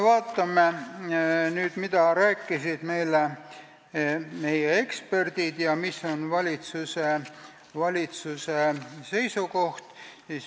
Vaatame nüüd, mida rääkisid meile eksperdid ja mis on valitsuse seisukoht.